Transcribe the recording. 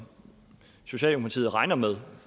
socialdemokratiet regner med